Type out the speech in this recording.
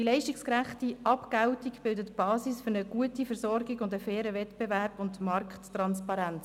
Die leistungsgerechte Abgeltung bildet die Basis für eine gute Versorgung und einen fairen Wettbewerb sowie für Markttransparenz.